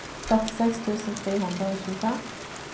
førtiseks tusen tre hundre og tjuefem